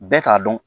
Bɛɛ k'a dɔn